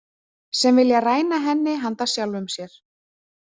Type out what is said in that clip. Sem vilja ræna henni handa sjálfum sér.